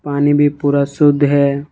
पानी भी पूरा शुद्ध है।